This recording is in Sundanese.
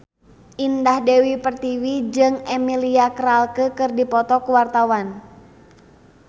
Indah Dewi Pertiwi jeung Emilia Clarke keur dipoto ku wartawan